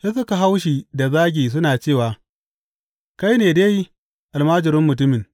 Sai suka hau shi da zagi suna cewa, Kai ne dai almajirin mutumin!